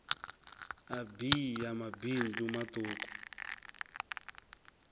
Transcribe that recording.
a bee ya mabindu matuku